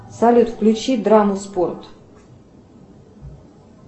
салют включи драму спорт